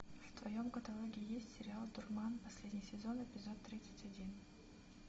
в твоем каталоге есть сериал дурман последний сезон эпизод тридцать один